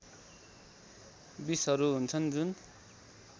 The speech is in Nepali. विषहरू हुन्छन् जुन